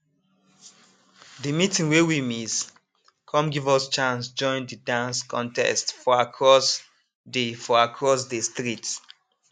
de meeting wey we miss come give us chance join de dance contest for across de for across de street